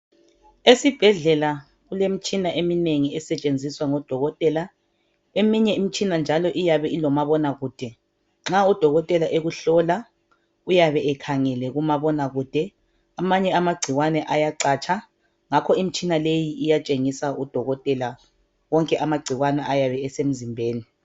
Esibhedlela kulemitshina eminengi esetshenziswa ngodokotela. Eminye imitshina njalo iyabe ilomabonakude nxa udokotela ekuhlola uyabe ekhangele kumabonakude. Amanye anagciwane ayacatsha ngakho imitshina le iyatshengisa udokotela wonke anagciwane ayabe esemzimbeni.